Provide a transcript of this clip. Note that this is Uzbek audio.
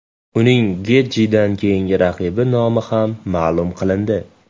Uning Getjidan keyingi raqibi nomi ham ma’lum qilindi.